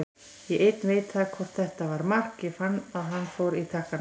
Ég einn veit það hvort þetta var mark, ég fann að hann fór í takkana.